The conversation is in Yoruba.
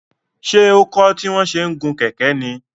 Ṣé ó kọ́ tí wọ́n ṣe ń gun kẹ̀kẹ́ ní?